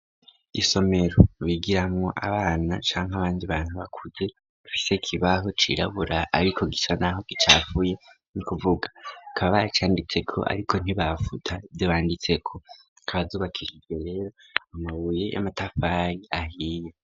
Isomero bigiramo abana canke abandi bantu bakuze bafise ikibaho cirabura ariko gisa naho gicafuye nikuvuga kaba baracanditseko ariko ntibafuta ivyo banditseko zikaba zubakishije rero amabuye y'amatafari ahiye.